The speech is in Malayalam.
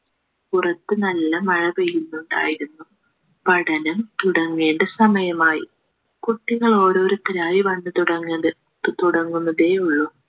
പുറത്തു നല്ല മഴ പെയ്യുന്നുണ്ടായിരുന്നു പഠനം തുടങ്ങേണ്ട സമയമായി കുട്ടികൾ ഓരോരുത്തരായി വന്നു തുടങ്ങുന്നത് തുടങ്ങുന്നതേയുള്ളൂ